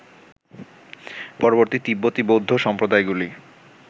পরবর্তী তিব্বতী বৌদ্ধ সম্প্রদায়গুলি